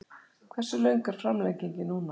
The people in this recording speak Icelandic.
Hversu löng er framlengingin núna?